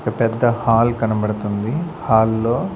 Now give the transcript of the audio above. ఒక పెద్ద హాల్ కనబడుతుంది హాల్ లో.